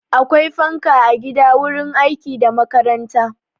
Akwai fanka a gida, wurin aiki da makaranta.